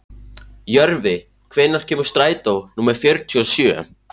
Jörvi, hvenær kemur strætó númer fjörutíu og sjö?